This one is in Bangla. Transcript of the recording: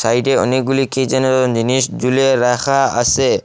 সাইডে অনেকগুলি কি যেন জিনিস ঝুলিয়ে রাখা আসে।